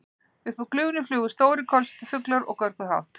Upp úr gufunni flugu stórir, kolsvartir fuglar og görguðu hátt.